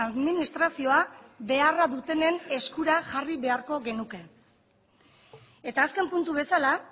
administrazioa beharra dutenen eskura jarri beharko genuke eta azken puntu bezala